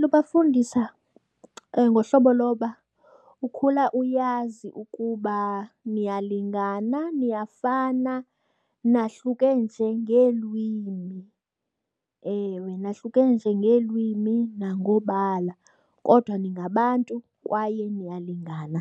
Lubafundisa ngohlobo loba ukhula uyazi ukuba niyalingana, niyafana nahluke nje ngeelwimi. Ewe, nahlukene nje ngeelwimi nangobala kodwa ningabantu kwaye niyalingana,